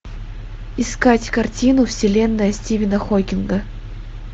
искать картину вселенная стивена хокинга